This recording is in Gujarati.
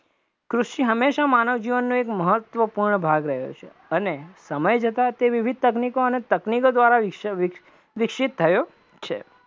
કૃષિ હંમેશા માનવ જીવનનો એક મહત્વપૂર્ણ ભાગ રહ્યો છે અને સમય જતા તે વિવિધ તકનીકો અને તકનીકો દ્વારા વિકસિત થયો છે,